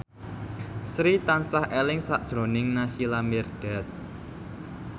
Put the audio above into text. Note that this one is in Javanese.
Sri tansah eling sakjroning Naysila Mirdad